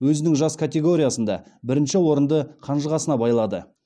өзінің жас категориясында бірінші орынды қанжығасына байлады